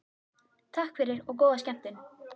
Takk fyrir og góða skemmtun.